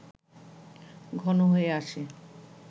ঘন হয়ে আসে